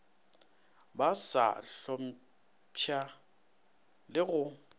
ba sa hlompša le go